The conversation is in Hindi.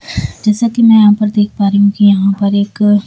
जैसा कि मैं यहां पर देख पा रही हूं कि यहां पर एक--